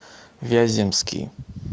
вяземский